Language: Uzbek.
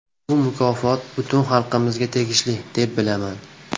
Bu mukofot butun xalqimizga tegishli, deb bilaman”.